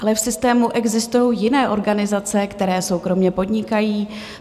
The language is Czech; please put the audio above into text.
Ale v systému existují jiné organizace, které soukromě podnikají.